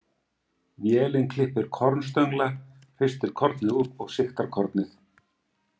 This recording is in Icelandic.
Vélin klippir kornstöngla, hristir kornið úr og sigtar kornið.